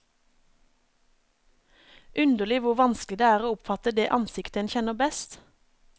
Underlig hvor vanskelig det er å oppfatte det ansiktet en kjenner best.